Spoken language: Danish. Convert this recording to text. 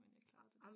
Men det klart